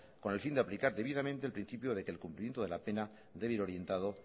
con el fin de aplicar debidamente el principio de que el cumplimiento de la pena debe ir orientado